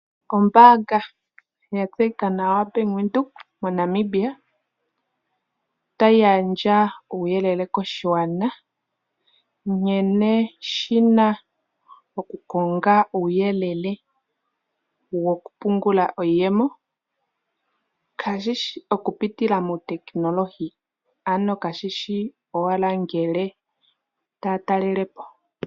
Ombaanga ya tseyika nawa Bank Windhoek moNamibia otayi gandja uuyelele koshigwana nkene shina oku konga uuyelele woku pungula iiyemo, kaashishi oku pitila muutekinolohi, ano kashishi owala ngele taya talele po.